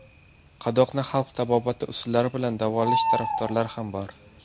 Qadoqni xalq tabobati usullari bilan davolash tarafdorlari ham bor.